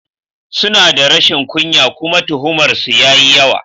Suna da rashin kunya kuma tuhumar su yayi yawa.